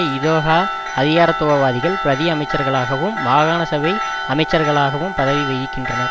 இதொகா அதிகாரத்துவவாதிகள் பிரதி அமைச்சர்களாகவும் மாகாண சபை அமைச்சர்களாகவும் பதவி வகிக்கின்றனர்